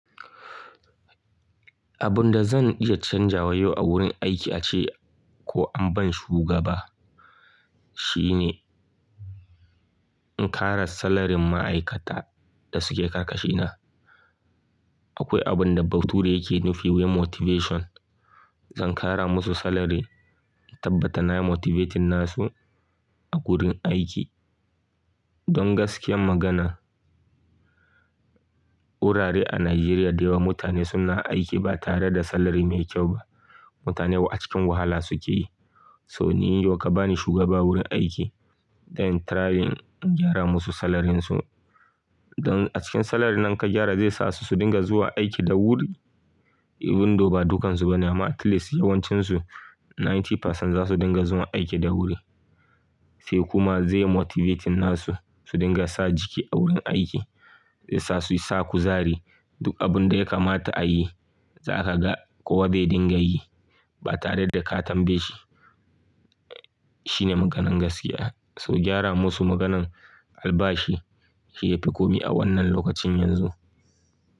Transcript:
Abun da zan iya canjawa yau a wurin aiki ace ko an bani shugaba shine in kara salarin ma'aikata da suke karkashina. Akwai abun da bature yake nufi wai imotivation. Zan kara musu salary in tabbata nayi motivating nasu a gurin aiki. Don gaskiyar magana wurare a Najeriya da yawa mutane suna aiki ba tare da salary mai kyau ba. Mutane wa cikin wahala suke yi. So ni yau ka bani shugaba wurin aiki dan trying in gyara musu salarynsa don a cikin salary nan ka gyara zai sa su su dinga zuwa aiki da wuri. Even thou ba dukkansu bane amma at least yawancinsu ninety percent zasu dinga zuwa aiki da wuri. Sai kuma zai motivating nasu su dinga sa jiki a wurin aiki. Zai sa su yi sa kuzari duk abun da ya kamata a yi za ka ga kowa zai dinga yi ba tare da ka tambaye shi. Shine maganan gaskiya. So gyara musu maganan albashi shi yafi komi a wannan lokacin yanzu.